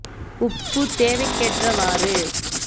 உப்பு தேவைக்கேற்றவாறு